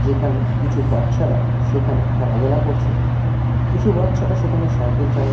যেখানে কিছু বাচ্চারা সেখানে খেলাধুলা করছে কিছু বাচ্চারা সেখানে সাইকেল চালা--